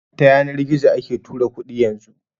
Ta yanar gizo ake tura kuɗi yanzu